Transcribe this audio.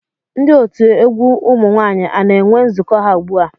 Ndị otu egwu ụmụ nwaanyị a na-enwe nzukọ ha ugbu a?